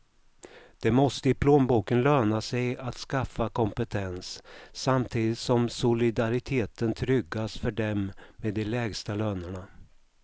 Det måste i plånboken löna sig att skaffa kompetens, samtidigt som solidariteten tryggas för dem med de lägsta lönerna.